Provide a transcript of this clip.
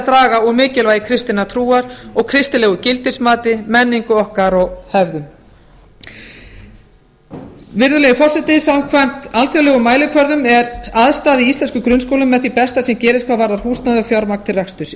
draga úr mikilvægi kristinnar trúar og kristilegu gildismati menningu okkar og hegðun virðulegi forseti samkvæmt alþjóðlegum mælikvörðum eru aðstæður íslenskra grunnskóla með því besta sem gerist hvað varðar húsnæði og fjármagn til reksturs í